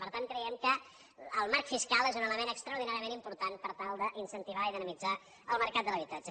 per tant creiem que el marc fiscal és un element extraordinàriament important per tal d’incentivar i dinamitzar el mercat de l’habitatge